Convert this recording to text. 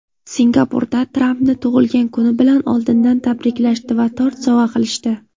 Singapurda Trampni tug‘ilgan kuni bilan oldindan tabriklashdi va tort sovg‘a qilishdi.